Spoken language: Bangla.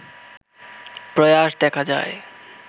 প্রয়াস দেখা যায়